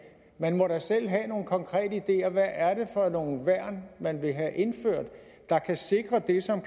man må da selv have nogle konkrete ideer hvad er det for nogle værn man vil have indført der kan sikre det som